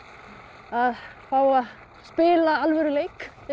að fá að spila alvöru leik eins og